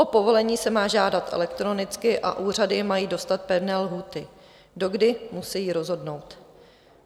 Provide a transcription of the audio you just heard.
O povolení se má žádat elektronicky a úřady mají dostat pevné lhůty, do kdy musejí rozhodnout.